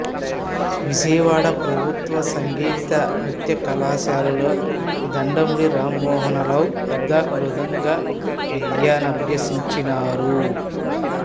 విజయవాడ ప్రభుత్వ సంగీత నృత్యకళాశాలలో దండమూడి రామమోహనరావు వద్ద మృదంగ విద్యనభ్యసించారు